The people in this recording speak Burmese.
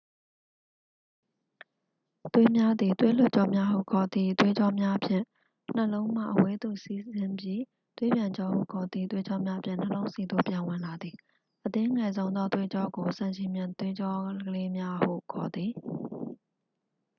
သွေးများသည် သွေးလွှတ်ကြောများဟု ခေါ်သည့် သွေးကြောများဖြင့် နှလုံးမှ အဝေးသို့ စီးဆင်းပြီး သွေးပြန်ကြောဟု ခေါ်သည့် သွေးကြောများဖြင့် နှလုံးဆီသို့ ပြန်ဝင်လာသည် အသေးငယ်ဆုံးသောသွေးကြောကို ဆံချည်မျှင်သွေးကြောလေးများဟု ခေါ်သည်